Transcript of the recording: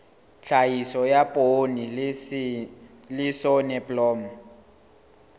tlhahiso ya poone le soneblomo